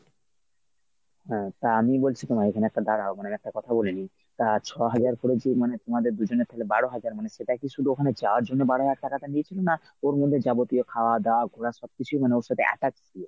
হ্যাঁ তা আমি বলছি তোমায় এখানে একটা দাঁড়াও মানে একটা কথা বলে নিই। তা ছ’হাজার করে যে মানে তোমাদের দু’জনের তালে বারো হাজার মানে সেটা কী ওখানে যাওয়ার জন্য বারো হাজার টাকাটা নিয়েছিল না ওর মধ্যে যাবতীয় খাওয়া দাওয়া ঘোরা সবকিছুই মানে ওর সাথে attached ছিল?